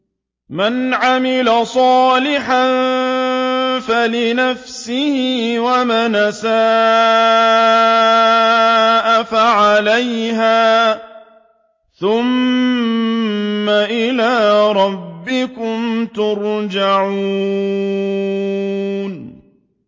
مَنْ عَمِلَ صَالِحًا فَلِنَفْسِهِ ۖ وَمَنْ أَسَاءَ فَعَلَيْهَا ۖ ثُمَّ إِلَىٰ رَبِّكُمْ تُرْجَعُونَ